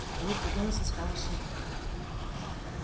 улыбка венуса стала шире